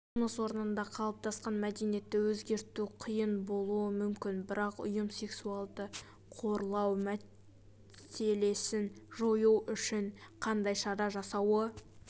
жұмыс орнында қалыптасқан мәдениетті өзгерту қиын болуы мүмкін бірақ ұйым сексуалды қорлау мәселесін жою үшін қандай шара жасауы